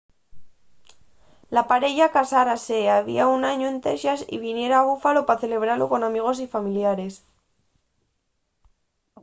la pareya casárase había un añu en texas y viniera a buffalo pa celebralo con amigos y familiares